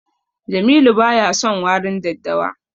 Jamilu baya son warin daddawa.